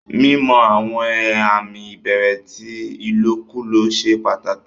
Mímọ̀ àwọn àmì ìbẹ̀rẹ̀ tí ilòkúlọ̀ sẹ́ pàtákì.